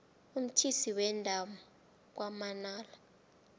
umthise wenda kwamanala